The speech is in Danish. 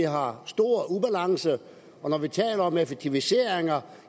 har stor ubalance når vi taler om effektiviseringer